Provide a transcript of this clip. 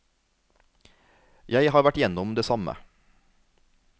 Jeg har vært gjennom det samme.